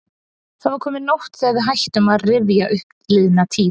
Það var komin nótt þegar við hættum að rifja upp liðna tíð.